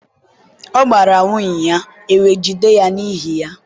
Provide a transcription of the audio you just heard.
ọ gbara nwunye, ewe jide ya n'ihi ya.